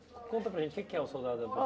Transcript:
Conta para a gente o que que é o soldado da